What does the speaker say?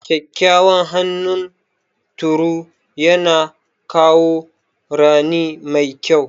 Kyakkyawan hunturu yana kawo rani mai kyau.